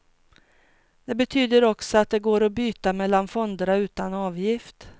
Det betyder också att det går att byta mellan fonderna utan avgift.